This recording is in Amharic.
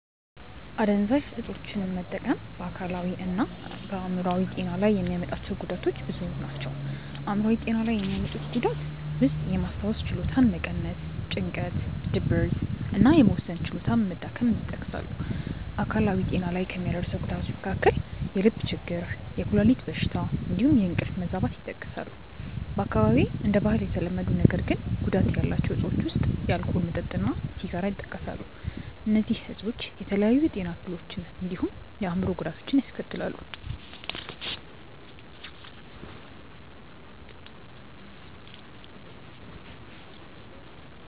አደንዛዥ እፆችን መጠቀም በ አካላዊ እና በ አይምሮአዊ ጤና ላይ የሚያመጣቸው ጉዳቶች ብዙ ናቸው። አይምሯዊ ጤና ላይ የሚያመጡት ጉዳት ውስጥየማስታወስ ችሎታን መቀነስ፣ ጭንቀት፣ ድብርት እና የመወሰን ችሎታ መዳከም ይጠቀሳሉ። አካላዊ ጤና ላይ ከሚያደርሰው ጉዳቶች መካከል የልብ ችግር፣ የኩላሊት በሽታ እንዲሁም የእንቅልፍ መዛባት ይጠቀሳሉ። በአካባቢዬ እንደ ባህል የተለመዱ ነገር ግን ጉዳት ያላቸው እፆች ውስጥ የአልኮል መጠጥ እና ሲጋራ ይጠቀሳሉ። እነዚህ እፆች የተለያዩ የጤና እክሎችን እንዲሁም የአእምሮ ጉዳቶችን ያስከትላሉ።